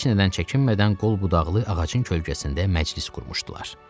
Heç nədən çəkinmədən qol-budaqlı ağacın kölgəsində məclis qurmuşdular.